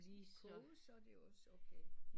Koges så er det også okay